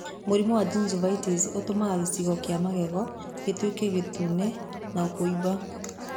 Mũrimũ wa gingivitis ũtũmaga gĩcango kĩa magego gĩtuĩke gĩtune na kuumba.